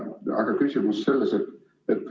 Aga küsimus on selline.